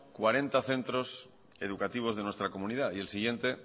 cuarenta centros educativos de nuestra comunidad y el siguiente